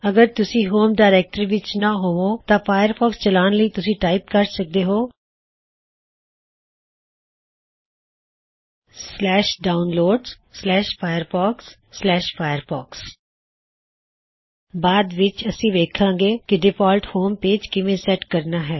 ਅਗਰ ਤੁਸੀ home directory ਵਿੱਚ ਨਾ ਹੋਵੋ ਤਾ ਫਾਇਰਫੌਕਸ ਚਲਾਉਨ ਲਈ ਤੁਸੀਂ ਟਾਇਪ ਕਰ ਸਕਦੇ ਹੋ downloadsfirefoxfirefox ਬਾਅਦ ਵਿੱਚ ਅਸੀ ਵੋੱਖਾਂਗੇ ਕੀ ਡਿਫਾਲਟ ਹੋਮ ਪੇਜ ਕਿਵੇਂ ਸੈੱਟ ਕਰਨਾ ਹੈ